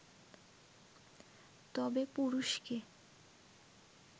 তবে পুরুষকে